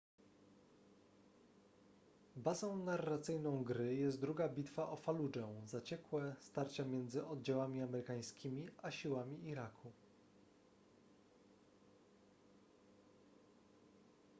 bazą narracyjną gry jest druga bitwa o faludżę zaciekłe starcie między oddziałami amerykańskimi a siłami iraku